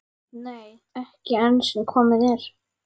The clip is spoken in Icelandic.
Nei, ekki enn sem komið er.